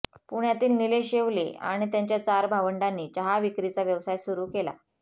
पुण्यातील निलेश येवले आणि त्यांच्या चार भावंडांनी चहाविक्रीचा व्यवसाय सुरु गेला